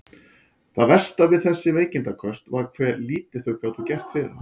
Það versta við þessi veikindaköst var hve lítið þau gátu gert fyrir hana.